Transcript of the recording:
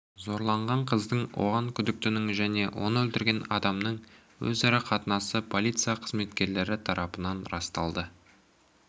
зорланған қыздың оған күдіктінің және оны өлтірген адамның өзара қарым-қатынасы полиция қызметкерлері тарапынан расталды